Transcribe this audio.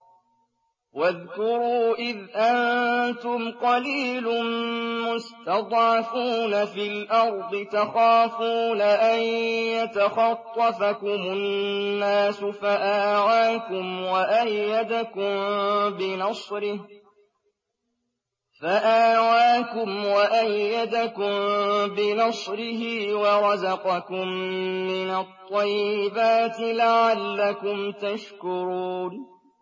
وَاذْكُرُوا إِذْ أَنتُمْ قَلِيلٌ مُّسْتَضْعَفُونَ فِي الْأَرْضِ تَخَافُونَ أَن يَتَخَطَّفَكُمُ النَّاسُ فَآوَاكُمْ وَأَيَّدَكُم بِنَصْرِهِ وَرَزَقَكُم مِّنَ الطَّيِّبَاتِ لَعَلَّكُمْ تَشْكُرُونَ